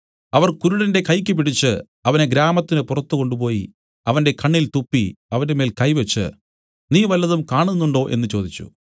അവൻ കുരുടന്റെ കൈയ്ക്ക് പിടിച്ച് അവനെ ഗ്രാമത്തിന് പുറത്തു കൊണ്ടുപോയി അവന്റെ കണ്ണിൽ തുപ്പി അവന്റെമേൽ കൈ വെച്ച് നീ വല്ലതും കാണുന്നുണ്ടോ എന്നു ചോദിച്ചു